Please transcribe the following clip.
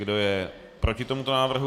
Kdo je proti tomuto návrhu?